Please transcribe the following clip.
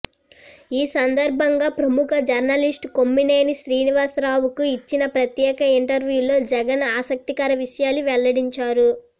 ఈ సందర్భంగా ప్రముఖ జర్నలిస్ట్ కొమ్మినేని శ్రీనివాస రావుకు ఇచ్చి న ప్రత్యేక ఇంటర్వ్యూలో జగన్ ఆసక్తికర విషయాలు వెల్లడించారు